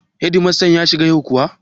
Hedimasta ya shigo yau kuwa?